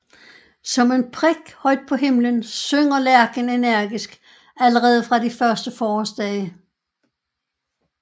Som en prik højt på himlen synger lærken energisk allerede fra de første forårsdage